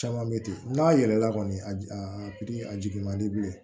Caman bɛ ten n'a yɛlɛla kɔni a jigin a pikiri a jigi man di bilen